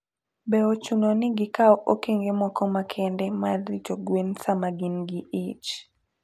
Be ochuno ni gikaw okenge moko makende mar rito gwen sama gin gi ich?